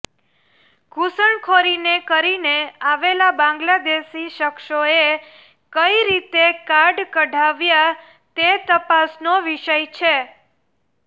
ઘૂસણખોરીને કરીને આવેલા બાંગ્લાદેશી શખ્સોએ કઈ રીતે કાર્ડ કઢાવ્યા તે તપાસનો વિષય છે